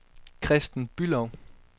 Kristen Bülow